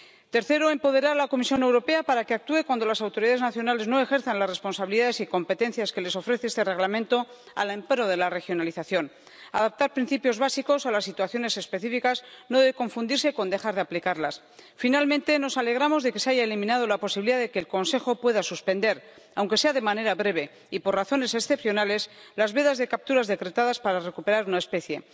Tercero, empoderar a la Comisión Europea para que actúe cuando las autoridades nacionales no ejerzan las responsabilidades y competencias que les ofrece este Reglamento al amparo de la regionalización. Adaptar principios básicos a las situaciones específicas no debe confundirse con dejar de aplicarlas. Finalmente, nos alegramos de que se haya eliminado la posibilidad de que el Consejo pueda suspender, aunque sea de manera breve y por razones excepcionales, las vedas de capturas decretadas para recuperar una especie.